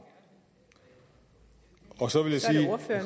og så